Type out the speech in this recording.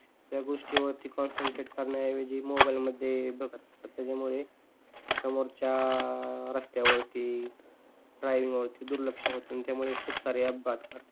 त्या गोष्टीवर कॉन्सन्ट्रेट करन्या ऐवजी ते मोबाइल मध्ये बघत असतात त्यामुळे समोरच्या रस्त्यावरती, ड्रायविंग वरती दुर्लक्ष होते आणि त्यामुळे खूप अपघात घडतात.